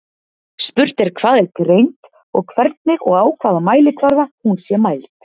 Spurt er hvað er greind og hvernig og á hvaða mælikvarða hún sé mæld.